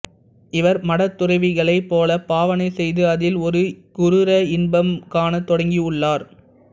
இவர் மடத் துறவிகளைப் போல பாவனை செய்து அதில் ஒரு குரூர இன்பம் காணத் தொடங்கியுள்ளார்